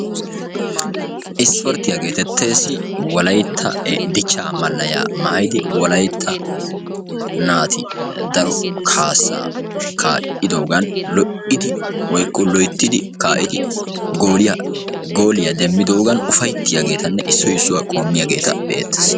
Ispporttiya getettees, wolaytta dichcha malayya maayyidi, wolaytta naati daro kaassa kaa'idoogan lo"idi woykko loyttid kaa'idoogan gooliya demmidoogan upayttiyaageetanne issoy issuwaa qoommiyaageeta be"ettees.